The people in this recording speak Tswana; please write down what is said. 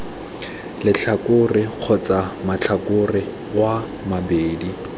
letlhakore kgotsa matlhakore oo mabedi